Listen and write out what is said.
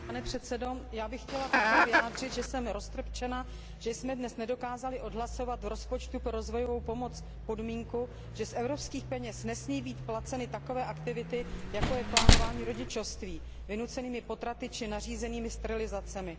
Pane předsedající, já bych chtěla také vyjádřit, že jsem roztrpčena, že jsme dnes nedokázali odhlasovat v rozpočtu pro rozvojovou pomoc podmínku, že z evropských peněz nesmí být placeny takové aktivity, jako je plánování rodičovství vynucenými potraty či nařízenými sterilizacemi.